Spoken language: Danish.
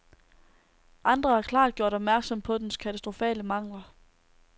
Andre har klart gjort opmærksom på dens katastrofale mangler.